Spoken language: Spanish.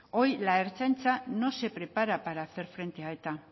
hoy la ertzaintza no se prepara para hacer frente a eta